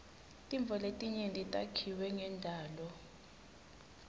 tintfo letinyenti takhiwe ngendalo